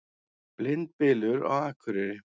Blindbylur á Akureyri